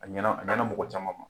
A ɲɛna a ɲɛnɲ mɔgɔ caman ma